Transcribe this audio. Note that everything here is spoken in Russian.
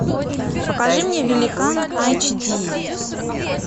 покажи мне великан айч ди